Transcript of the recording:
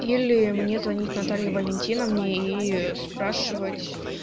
или мне звонить наталье валентиновне и спрашивать